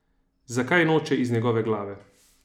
Zakaj noče iz njegove glave?